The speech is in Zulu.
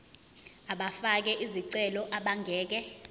abafake izicelo abangeke